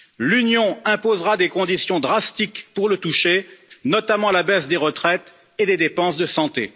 L'Union imposera des conditions drastiques pour le toucher, notamment la baisse des retraites et des dépenses de santé.